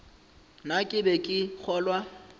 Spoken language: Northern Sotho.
na ke be ke kgolwa